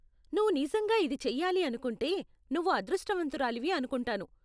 నువ్వు నిజంగా ఇది చెయ్యాలి అనుకుంటే నువ్వు అదృష్టవంతురాలివి అనుకుంటాను.